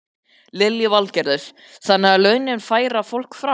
Lillý Valgerður: Þannig að launin færa fólk frá?